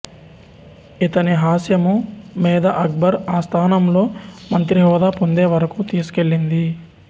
ఇతని హాస్యము మేధ అక్బర్ ఆస్థానంలో మంత్రిహోదా పొందేవరకూ తీసుకెళ్ళింది